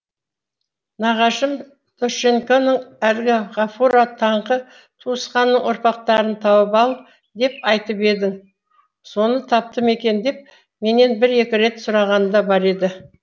нағашым дощекеңнің әлгі ғафуға таңқы туысқанның ұрпақтарын тауып ал деп айтып едім соны тапты ма екен деп менен бір екі рет сұрағаны да бар еді